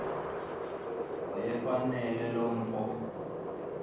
wayefanele lo mfo